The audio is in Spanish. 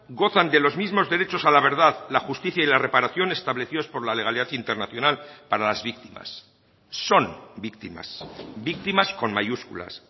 gozan de los mismos derechos a la verdad la justicia y la reparación establecidos por la legalidad internacional para las víctimas son víctimas víctimas con mayúsculas